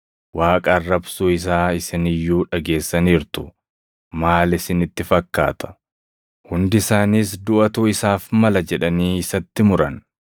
Waaqa arrabsuu isaa isini iyyuu dhageessaniirtu. Maal isinitti fakkaata?” Hundi isaaniis duʼatu isaaf mala jedhanii isatti muran.